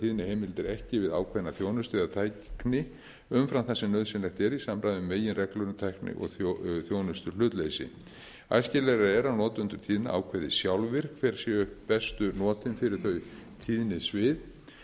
binda tíðniheimildir ekki við ákveðna þjónustu eða tækni umfram það sem nauðsynlegt er í samræmi við meginreglur um tækni og þjónustuhlutleysi æskilegra er að notendur tíðna ákveði sjálfir hver séu bestu notin fyrir þau tíðnisvið